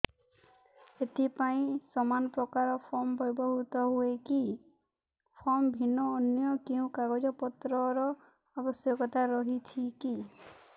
ଏଥିପାଇଁ ସମାନପ୍ରକାର ଫର୍ମ ବ୍ୟବହୃତ ହୂଏକି ଫର୍ମ ଭିନ୍ନ ଅନ୍ୟ କେଉଁ କାଗଜପତ୍ରର ଆବଶ୍ୟକତା ରହିଛିକି